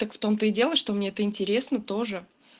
так в том-то и дело что мне это интересно тоже